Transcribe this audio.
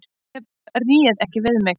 En ég réð ekki við mig.